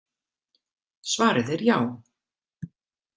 Svarið er já.